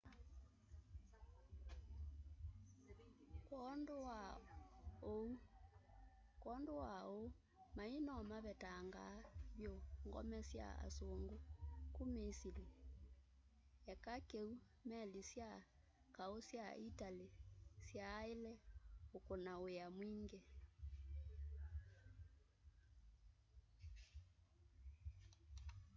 kwondu wa uu mai no mavetangaa vyu ngome sya asungu ku misili eka kiu meli sya kau sya itali iyaaile ukuna wia ungi